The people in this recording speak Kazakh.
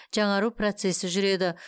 жаңару процесі жүреді